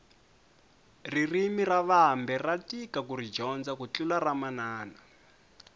ririmi ra vambe ra tika kuri dyondza ku tlula ramanana